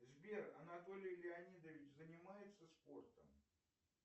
сбер анатолий леонидович занимается спортом